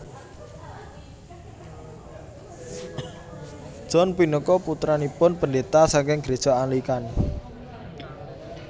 John punika putranipun pendeta saking gereja Anglikan